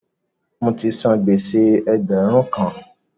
Mo ti san gbèsè ẹgbẹ̀rún kan.